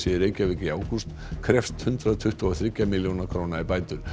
í Reykjavík í ágúst krefst hundrað tuttugu og þriggja milljóna króna í bætur